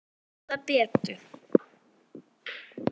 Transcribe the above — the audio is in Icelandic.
Ég skal bjóða betur.